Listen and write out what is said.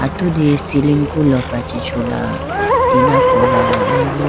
atudi ceiling ku lopra chi chula tina kola aibu.